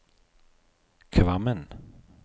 Kvammen